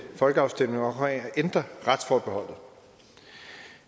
folkeafstemning om at ændre retsforbeholdet